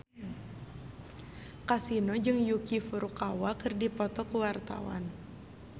Kasino jeung Yuki Furukawa keur dipoto ku wartawan